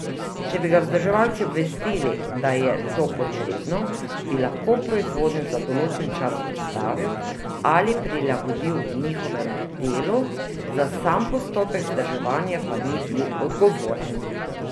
Če bi ga vzdrževalci obvestili, da je to potrebno, bi lahko proizvodnjo za določen čas ustavil ali prilagodil njihovemu delu, za sam postopek vzdrževanja pa ni bil odgovoren.